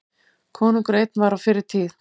Konungur einn var á fyrri tíð.